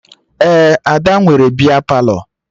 Ee, Ada nwere bịa Palọ